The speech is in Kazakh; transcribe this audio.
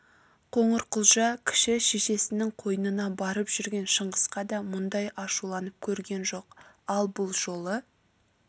қоңырқұлжа кіші шешесінің қойнына барып жүрген шыңғысқа да мұндай ашуланып көрген жоқ ал бұл жолы